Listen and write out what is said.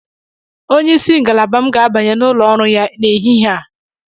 Onyeisi ngalaba m ga-abanye n'ụlọ ọrụ ya n'ehihie a.